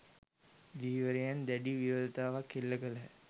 ධීවරයන් දැඩි විරෝධතාවක් එල්ල කළහ